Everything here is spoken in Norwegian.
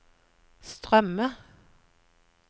strømme